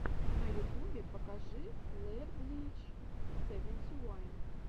на ютубе покажи лерблич севенти уан